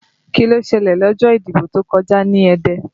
Kí ló ṣẹlẹ̀ lọ́jọ́ ìdìbò tó kọjá ní Ẹdẹ?